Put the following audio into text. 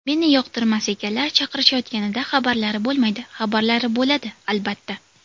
Meni yoqtirmas ekanlar, chaqirishayotganida xabarlari bo‘lmaydi, xabarlari bo‘ladi, albatta.